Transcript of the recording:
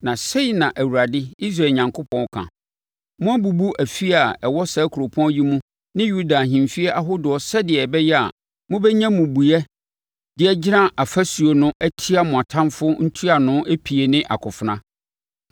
Na sei na Awurade, Israel Onyankopɔn ka: Moabubu afie a ɛwɔ saa kuropɔn yi mu ne Yuda ahemfie ahodoɔ sɛdeɛ ɛbɛyɛ a mobɛnya mmubuiɛ de agyina afasuo no atia mo atamfoɔ ntuano epie ne akofena.